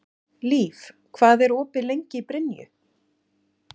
Líf, hvað er opið lengi í Brynju?